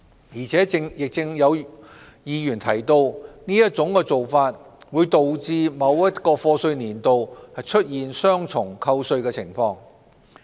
而且亦有議員提到，這種做法會導致某一課稅年度出現雙重扣稅的情況。